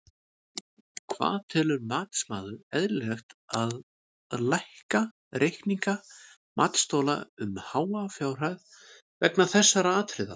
Hvað telur matsmaður eðlilegt að lækka reikninga matsþola um háa fjárhæð vegna þessara atriða?